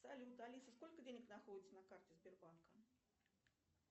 салют алиса сколько денег находится на карте сбербанка